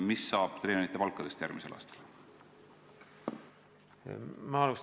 Mis saab treenerite palkadest järgmisel aastal?